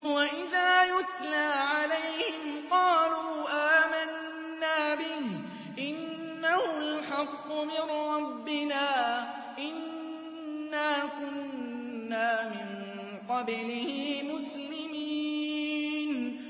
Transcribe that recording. وَإِذَا يُتْلَىٰ عَلَيْهِمْ قَالُوا آمَنَّا بِهِ إِنَّهُ الْحَقُّ مِن رَّبِّنَا إِنَّا كُنَّا مِن قَبْلِهِ مُسْلِمِينَ